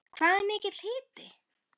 Hvað er mikill hiti?